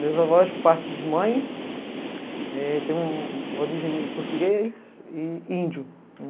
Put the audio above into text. Meus avós partem de mãe, eh, tem um um uma origem português e índio.